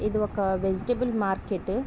ఇది ఒక vegetable market .